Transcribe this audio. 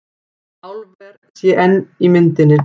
Álver sé enn í myndinni